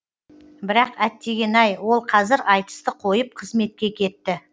бірақ әттеген ай ол қазір айтысты қойып қызметке кетті